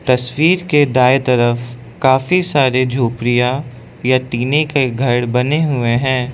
तस्वीर के दाएं तरफ काफी सारी झोपड़ियां या टिने के घर बने हुए हैं।